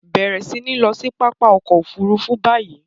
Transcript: Bẹ̀rẹ̀ sí ní lọ sí pápá ọkọ̀-òfurufú báyìí!